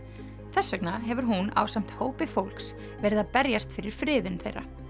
þess vegna hefur hún ásamt hópi fólks verið að berjast fyrir friðun þeirra